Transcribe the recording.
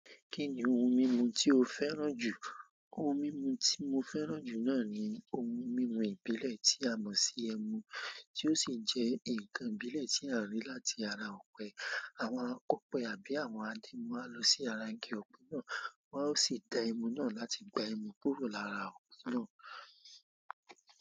Kí ni ohun mímu tí o fẹ́ràn jù? Ohun mímu tí mo fẹ́ràn jù náà ni ohun mímu ìbílẹ̀ tí a mọ̀ sí "ẹmu," tí ó sì jẹ́ ǹkan ìbílẹ̀ tí a rí láti ara ọ̀pẹ. Àwọn akọ̀pẹ àbí àwọn adìmọ́ á lọ sí ara igi ọ̀pẹ náà, wọ́n á sì ta ẹmu náà láti gba ẹmu kúrò lára ọ̀pẹ náà.